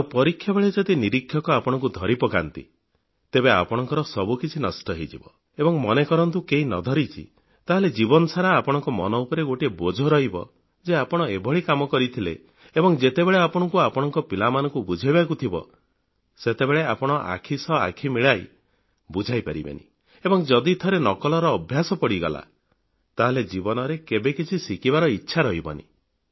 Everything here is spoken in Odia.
ଆଉ ପରୀକ୍ଷାବେଳେ ଯଦି ନିରୀକ୍ଷକ ଆପଣଙ୍କୁ ଧରି ପକାନ୍ତି ତେବେ ଆପଣଙ୍କ ସବୁ କିଛି ନଷ୍ଟ ହୋଇଯିବ ଏବଂ ମନେକରନ୍ତୁ କେହି ନ ଧରୁଛି ତାହେଲେ ଜୀବନ ସାରା ଆପଣଙ୍କ ମନ ଉପରେ ଗୋଟିଏ ବୋଝ ରହିଯିବ ଯେ ଆପଣ ଏଭଳି କାମ କରିଥିଲେ ଏବଂ ଯେତେବେଳେ ଆପଣଙ୍କୁ ଆପଣଙ୍କ ପିଲାମାନଙ୍କୁ ବୁଝାଇବାକୁ ଥିବ ସେତେବେଳେ ଆପଣ ଆଖି ସହ ଆଖି ମିଶାଇ ବୁଝାଇ ପାରିବେନି ଏବଂ ଯଦି ଥରେ ନକଲର ଅଭ୍ୟାସ ପଡ଼ିଗଲା ତାହେଲେ ଜୀବନରେ କେବେ କିଛି ଶିଖିବାର ଇଚ୍ଛା ରହିବନି